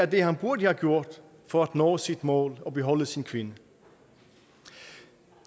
det han burde have gjort for at nå sit mål og beholde sin kvinde